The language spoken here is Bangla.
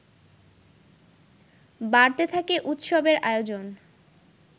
বাড়তে থাকে উৎসবের আয়োজন